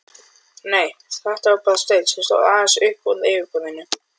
Nei, þetta var bara steinn, sem stóð aðeins uppúr yfirborðinu.